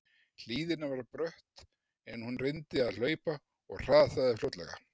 Hlíðin var brött en hún reyndi að hlaupa og hrasaði fljótlega.